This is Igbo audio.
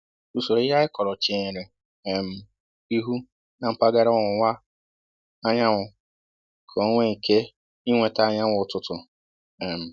Usoro ihe anyị kọrọ chenyere um ihu na mpaghara ọwụwa anyanwụ, ka onwé ike i nweta anyanwụ ụtụtụ um